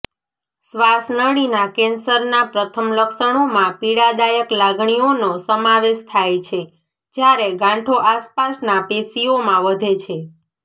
શ્વાસનળીના કેન્સરના પ્રથમ લક્ષણોમાં પીડાદાયક લાગણીઓનો સમાવેશ થાય છે જ્યારે ગાંઠો આસપાસના પેશીઓમાં વધે છે